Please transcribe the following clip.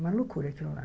Uma loucura aquilo lá.